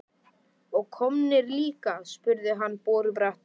Og kommarnir líka? spurði hann borubrattur.